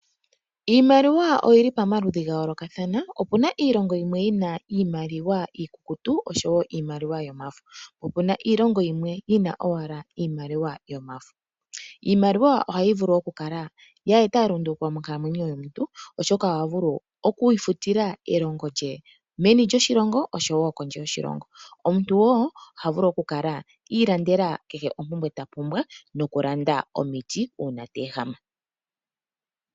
Iimaliwa oyi li pomaludhi ga yooloka . Ope na iilongo yimwe yi na iimaliwa iikukutu oshowo yomafo . Ope na wo iilongo hayi longitha ashike iimaliwa yomafo. Iimaliwa ohayi vulu okweeta elunduluko monkalamwenyo yomuntu oshoka omuntu oha vulu okwiifutila elongo lye meni lyoshilongo nenge kondje yoshilongo. Omuntu wo oha vulu okwiilandela ompumbwe kehe ta pumbwa nokwiilandela omiti uuna ta ehama.